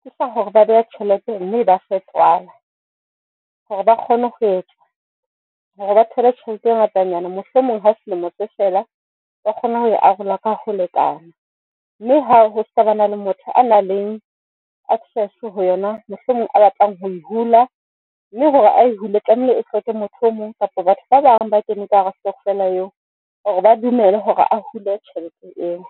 ke sa hore ba beha tjhelete mme e ba fe tswala hore ba kgone ho etsa hore ba thole tjhelete e ngatanyana. Mohlomong ha selemo se fela, ba kgone ho e arola ka ho lekana, mme ha ho se ba na le motho a nang le access ho yona mohlomong a batlang ho e hula. Mme hore ae hule tlamehile, e hloke motho o mong kapa batho ba bang ba keneng ka hara stokvela eo hore ba dumele hore a hule tjhelete eo.